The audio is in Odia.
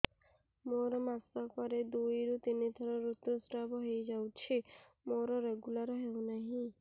ମୋର ମାସ କ ରେ ଦୁଇ ରୁ ତିନି ଥର ଋତୁଶ୍ରାବ ହେଇଯାଉଛି ମୋର ରେଗୁଲାର ହେଉନାହିଁ